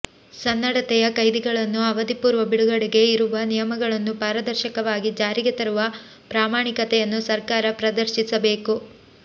ಸನ್ನಡತೆಯ ಕೈದಿಗಳನ್ನು ಅವಧಿಪೂರ್ವ ಬಿಡುಗಡೆಗೆ ಇರುವ ನಿಯಮಗಳನ್ನು ಪಾರದರ್ಶಕವಾಗಿ ಜಾರಿಗೆ ತರುವ ಪ್ರಾಮಾಣಿಕತೆಯನ್ನು ಸರ್ಕಾರ ಪ್ರದರ್ಶಿಸಬೇಕು